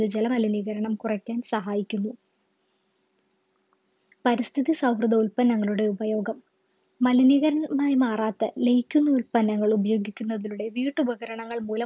ജല മലിനീകരണം കുറക്കാൻ സഹായിക്കുന്നു പരിസ്ഥിതി സൗഹൃദ ഉൽപ്പന്നങ്ങളുടെ ഉപയോഗം മലിനീകരണമായി മാറാത്ത ലയിക്കുന്ന ഉൽപ്പന്നങ്ങളും ഉപയോഗിക്കുന്നതിലൂടെ വീട്ടു ഉപകരണങ്ങൾ മൂലം